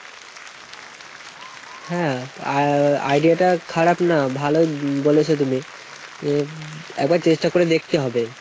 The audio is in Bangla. হ্যাঁ। ideaটা খারাপ না, ভালোই বলেছো তুমি। এ একবার চেষ্টা করে দেখতে হবে।